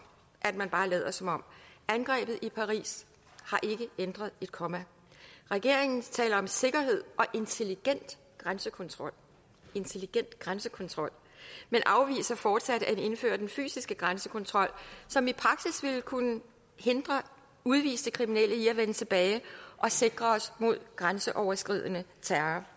at man bare lader som om angrebet i paris har ikke ændret et komma regeringen taler om sikkerhed og intelligent grænsekontrol intelligent grænsekontrol men afviser fortsat at indføre den fysiske grænsekontrol som i praksis ville kunne hindre udviste kriminelle i at vende tilbage og sikre os mod grænseoverskridende terror